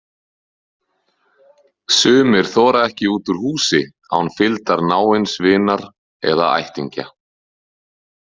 Sumir þora ekki út úr húsi án fylgdar náins vinar eða ættingja.